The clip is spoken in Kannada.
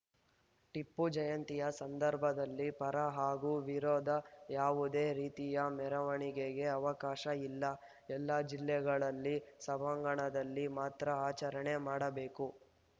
ಟಿಪ್ಪು ಜಯಂತಿ ಸಂದರ್ಭದಲ್ಲಿ ಪರ ಹಾಗೂ ವಿರೋಧ ಯಾವುದೇ ರೀತಿಯ ಮೆರವಣಿಗೆಗೆ ಅವಕಾಶ ಇಲ್ಲ ಎಲ್ಲಾ ಜಿಲ್ಲೆಗಳಲ್ಲಿ ಸಭಾಂಗಣದಲ್ಲಿ ಮಾತ್ರ ಆಚರಣೆ ಮಾಡಬೇಕು